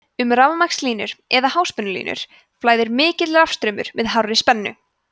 um rafmagnslínur eða háspennulínur flæðir mikill rafstraumur með hárri spennu